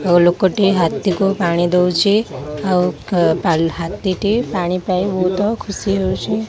ଆଉ ଲୋକଟି ହାତୀକୁ ପାଣି ଦୋଉଚି ଆଉ ହାତୀଟି ପାଣି ପାଇ ବୋହୁତ ଖୁସି ହୋଉଚି।